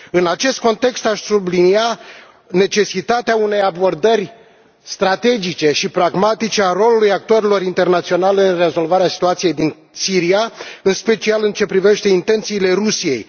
În acest context, aș sublinia necesitatea unei abordări strategice și pragmatice a rolului actorilor internaționali în rezolvarea situației din Siria, în special în ce privește intențiile Rusiei.